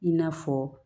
I n'a fɔ